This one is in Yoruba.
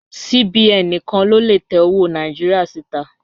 CBN níkan ló lè tẹ́ ọwọ́ Nàìjíríà sí tà.